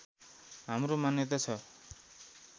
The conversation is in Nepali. हाम्रो मान्यता छ